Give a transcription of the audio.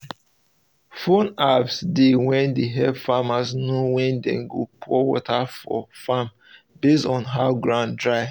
phone apps dey wey de help farmers know when dem go pour water for farm base on how ground dry